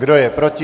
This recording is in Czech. Kdo je proti?